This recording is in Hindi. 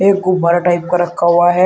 एक गुब्बारा टाइप का रखा हुआ है।